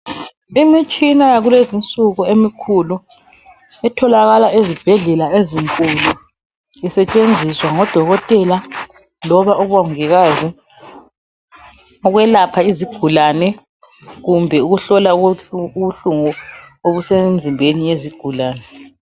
Imitshina yakulezinsuku emikhulu etholakala ezibhedlela isetshenziswa ngodokotela kumbe abongikazi ukwelapha izigulani kumbe ukuhlola ubuhlungu obusemzimbeni yezigulane.